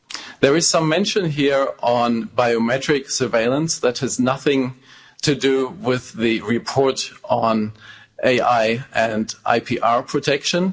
There is some mention here of biometrics surveillance that has nothing to do with the report on AI and IPR protection.